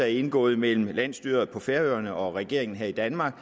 indgået mellem landsstyret på færøerne og regeringen her i danmark